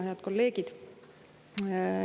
Head kolleegid!